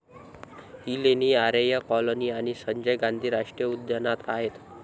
ही लेणी आरेय कॉलोनी आणि संजय गांधी राष्ट्रीय उद्यानात आहेत.